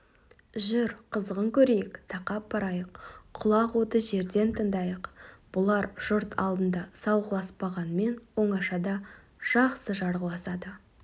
жүр қызығын көрейік тақап барайық құлақ оты жерден тыңдайық бұлар жұрт алдында салғыласпағанмен оңашада жақсы жарғыласады